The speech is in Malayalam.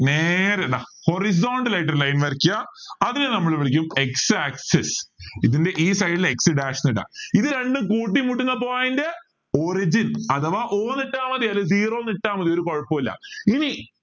നേരെ ഇതാ horizontal ആയിട്ട് ഒരു line വരയ്ക്ക അതിനെ നമ്മൾ വിളിക്കും x axis ഇതിൻറെ ഈ side ല് dash എന്നിടാം ഇത് രണ്ടും കൂട്ടിമുട്ടുന്ന point origin അഥവാ O എന്നിട്ടാൽ മതി അല്ലെങ്കിൽ zero എന്നിട്ടാ മതി ഒരു കുഴപ്പവുമില്ല ഇനി